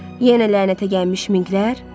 Yenə lənətə gəlmiş minqlər?